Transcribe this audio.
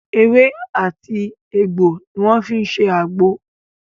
Ewé àti egbò ni wọ́n fi ń ṣe àgbo